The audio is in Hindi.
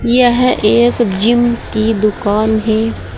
यह एक जिम की दुकान है।